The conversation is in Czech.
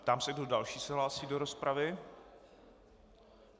Ptám se, kdo další se hlásí do rozpravy.